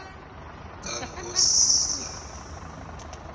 kankoszane